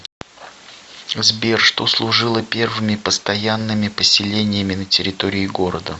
сбер что служило первыми постоянными поселениями на территории города